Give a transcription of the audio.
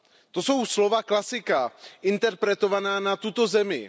To jsou slova klasika interpretovaná na tuto zemi.